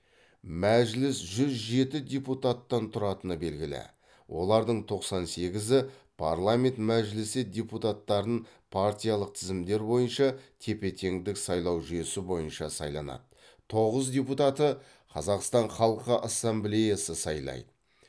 мәжіліс жүз жеті депутаттан тұратыны белгілі олардың тоқсан сегізі парламент мәжілісі депутаттарын партиялық тізімдер бойынша тепе теңдік сайлау жүйесі бойынша сайланады тоғыз депутатты қазақстан халқы ассамблеясы сайлайды